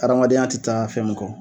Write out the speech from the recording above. Adamadenya tɛ taa fɛn min kɔ.